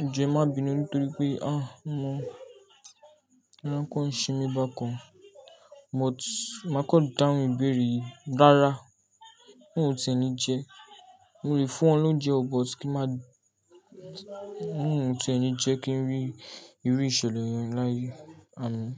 Ejo ẹ má bínú nítorí pé, ah, omo, ara kan semi bákan. But màá kọ dáhùn ìbéèrè yìí. Rára. Olohin o tí e ni jẹ, mo lè fún ọ l'ounje o, but kín má, Olohun ò tí è ni jẹ́ kí n rí irú ìṣẹ̀lẹ̀ yẹn láyé. Amin.